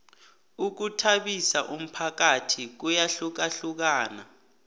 ukhuthabisa umphakathi kuyahlukahlukana